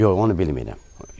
Yox, onu bilmirəm.